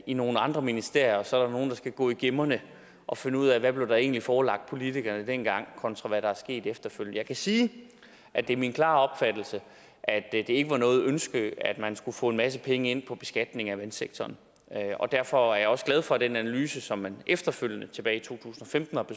i nogle andre ministerier og så er der nogen der skal gå i gemmerne og finde ud af hvad der egentlig blev forelagt politikerne dengang kontra hvad der er sket efterfølgende jeg kan sige at det er min klare opfattelse at det ikke var noget ønske at man skulle få en masse penge ind på beskatningen af vandsektoren og derfor er jeg også glad for at den analyse som man efterfølgende tilbage i to